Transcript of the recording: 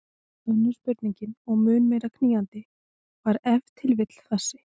Önnur spurning og mun meira knýjandi var ef til vill þessi